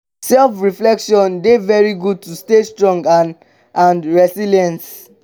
self reflection dey very good to stay strong and and resilience.